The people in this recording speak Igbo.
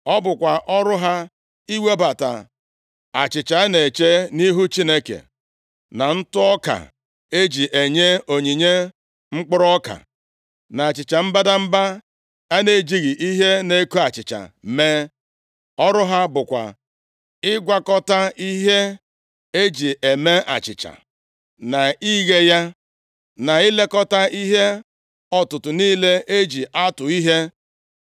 Ọ bụkwa ọrụ ha iwebata achịcha a na-eche nʼihu Chineke, na ụtụ ọka e ji enye onyinye mkpụrụ ọka, na achịcha mbadamba a na-ejighị ihe na-eko achịcha mee. Ọrụ ha bụkwa ịgwakọta ihe e ji eme achịcha, na ighe ya, na ilekọta ihe ọtụtụ niile e ji atụ ihe.